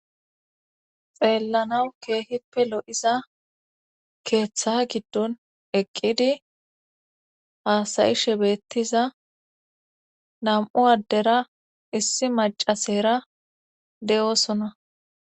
Xeellanawu keehippe lo7iza keeththa giddon eqqidi haasayishe beettiza nam7u addera issi macasera de7oosona.